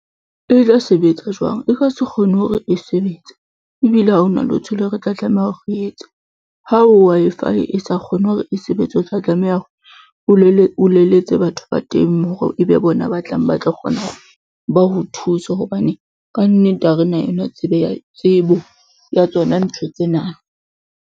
E tla sebetsa jwang? E ka se kgone hore e sebetse ebile ha hona letho leo re tla tlameha hore re etse ha Wi-Fi e sa kgone hore e sebetse o tla tlameha hore o leletse batho ba teng hore e be bona ba tlang ba o thuse hobane ka nnete ha re na yona tsebo ya tsona ntho tsena.